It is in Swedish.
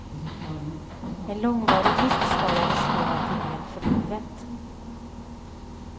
En långvarig vristskada riskerar att ge men för livet.